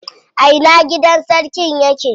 A ina gidan sarkin yake?